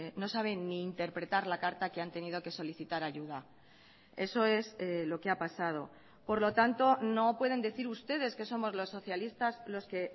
no saben ni interpretar la carta que han tenido que solicitar ayuda eso es lo que ha pasado por lo tanto no pueden decir ustedes que somos los socialistas los que